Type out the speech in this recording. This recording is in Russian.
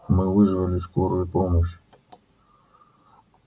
мы вызвали скорую помощь